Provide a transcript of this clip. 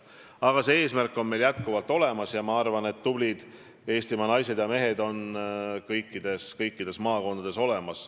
Aga see eesmärk on meil endiselt olemas ja ma arvan, et tublid Eestimaa naised ja mehed on kõikides maakondades olemas.